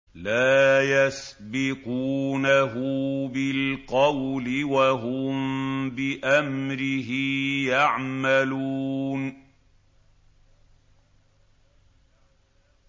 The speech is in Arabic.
لَا يَسْبِقُونَهُ بِالْقَوْلِ وَهُم بِأَمْرِهِ يَعْمَلُونَ